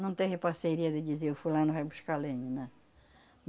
Não teve parceria de dizer o fulano vai buscar lenha, não.